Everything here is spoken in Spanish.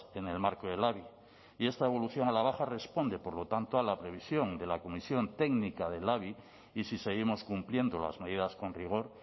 en el marco del labi y esta evolución a la baja responde por lo tanto a la previsión de la comisión técnica del labi y si seguimos cumpliendo las medidas con rigor